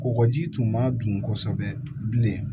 Kɔgɔji tun ma dun kosɛbɛ bilen